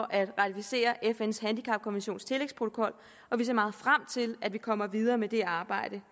at ratificere fns handicapkonventions tillægsprotokol og vi ser meget frem til at vi kommer videre med det arbejde